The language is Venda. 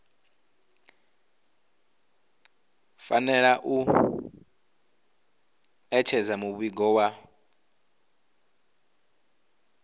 fanela u ṋetshedza muvhigo wa